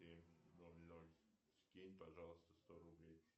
скинь пожалуйста сто рублей